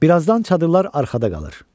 Bir azdan çadırlar arxada qalır.